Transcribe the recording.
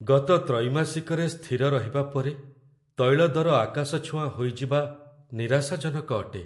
ଗତ ତ୍ରୈମାସିକରେ ସ୍ଥିର ରହିବା ପରେ, ତୈଳ ଦର ଆକାଶଛୁଆଁ ହୋଇଯିବା ନିରାଶାଜନକ ଅଟେ।